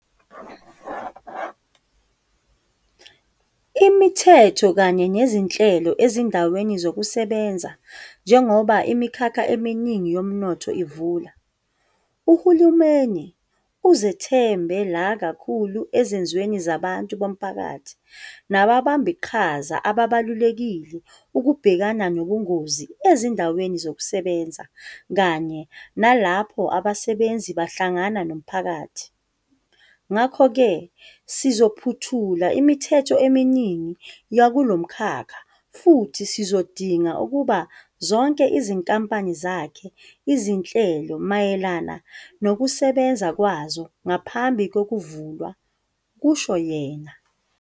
Imithetho kanye nezinhlelo ezindaweni zokusebenzaNjengoba imikhakha eminingi yomnotho ivula, uhulumeni uzothembe la kakhulu ezenzweni zabantu bomphakathi nababambiqhaza ababalulekile ukubhekana nobungozi ezindaweni zokusebenza kanye nalapho abasebenzi behlangana nomphakathi. "Ngakho-ke sizophothula imithetho eminingi yakulomkhakha futhi sizodinga ukuba zonke izinkampani zakhe izinhlelo mayelana nokusebenza kwazo ngaphambi kokuvulwa," kusho yena.